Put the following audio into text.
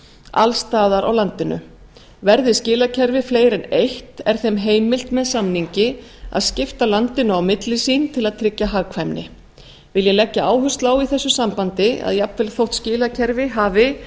alls staðar á landinu verði skilakerfið fleiri en eitt er þeim heimilt með samningi að skipta landinu á milli sín til að tryggja hagkvæmni vil ég leggja áherslu á í þessu sambandi að jafnvel þótt skilakerfi hafi